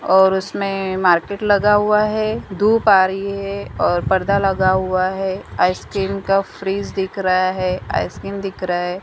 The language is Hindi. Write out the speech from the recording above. और उसमें मार्केट लगा हुआ है धूप आ रही है और पर्दा लगा हुआ है आइसक्रीम का फ्रिज दिख रहा है आइसक्रीम दिख रहा है।